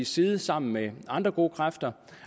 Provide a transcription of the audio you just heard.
side sammen med andre gode kræfter